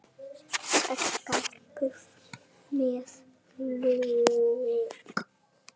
Saxað buff með lauk